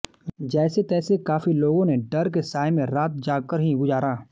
जैसे तैसे काफी लोगों ने डर के साए में रात जागकर ही गुजारा